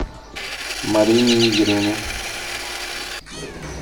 марине игоревне